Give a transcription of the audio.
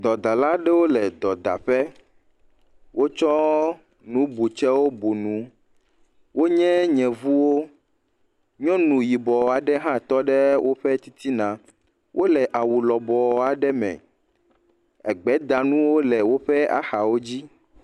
Dɔdala aɖewo le dɔdaƒe. wotsɔ nubɔtsewo bu nu. Wonye yevuwo. Nyɔnu yibɔ aɖe hã tɔ ɖe woƒe titina wole awu lɔbɔ aɖe me. Egbedanuwop le woƒe axawo dzi.